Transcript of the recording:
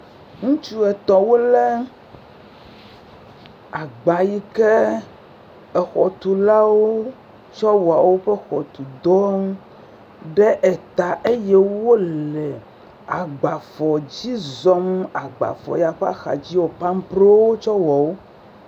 Ŋutsu etɔ̃ wolé agba yi ke xɔtolawo tsɔ wɔa woƒe xɔtu dɔ ɖe ta eye wole agbafɔ dzi zɔm. Agbafɔ ya ƒe axadzi pamprowo wotsɔ wɔ wo.